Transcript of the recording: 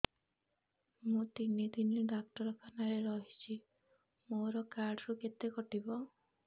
ମୁଁ ତିନି ଦିନ ଡାକ୍ତର ଖାନାରେ ରହିଛି ମୋର କାର୍ଡ ରୁ କେତେ କଟିବ